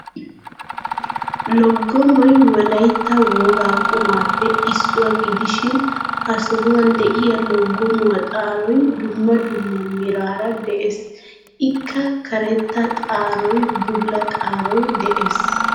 Loggomoy wolayitta wogaa qumaappe issuwa gidishin ha sohuwan diya loggomuwa xaaroy dumma dumma meraara des. Ikka karetta xaaroy bulla xaaroy des.